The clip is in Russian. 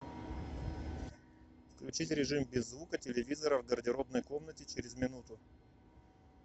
включить режим без звука телевизора в гардеробной комнате через минуту